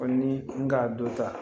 Foli ni n ka dɔ ta